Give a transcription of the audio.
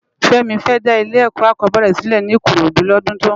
Femi fè dá ilé èkò ákòbèrè silè ni ikorodu lòdún tó n bò